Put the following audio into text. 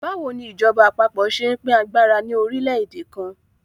Báwo ni ìjọba àpapọ̀ ṣe ń pín agbára ní orílẹ̀-èdè kan?